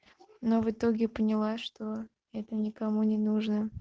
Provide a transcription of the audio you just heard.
но в итоге поняла что это никому не нужно